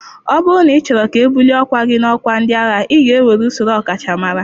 Ọ bụrụ na ịchọrọ ka ebuli ọkwa gị n'ọkwa ndị agha, ị ga-ewere usoro ọkachamara.